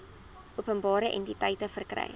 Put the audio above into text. openbare entiteite verkry